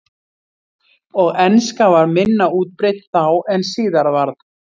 Og enska var minna útbreidd þá en síðar varð.